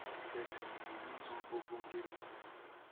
sport betting e don turn ogbonge business